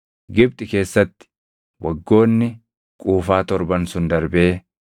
Gibxi keessatti waggoonni quufaa torban sun darbee,